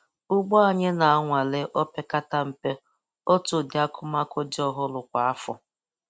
Ugbo anyị na-anwale opeketa mpe otu udi akụmakụ dị ọhụrụ kwa afọ